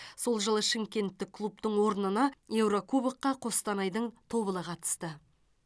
сол жылы шымкенттік клубтың орнына еурокубокқа қостанайдың тобылы қатысты